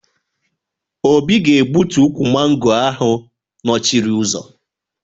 Obi ga-egbutu ukwu mango ahụ nọchiri ụzọ